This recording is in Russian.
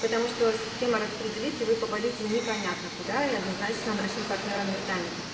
потому что система распределит и вы попадёте непонятно куда и однозначно нашим партнёром не станете